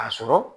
A sɔrɔ